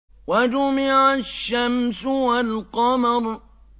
وَجُمِعَ الشَّمْسُ وَالْقَمَرُ